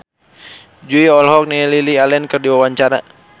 Jui olohok ningali Lily Allen keur diwawancara